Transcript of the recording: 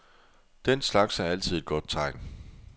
Den slags er altid et godt tegn.